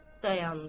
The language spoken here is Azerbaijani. dayandı.